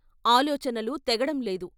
ఆలోచనలు తెగడం లేదు.